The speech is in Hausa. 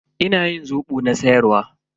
Ina yin zobo na siyar wa.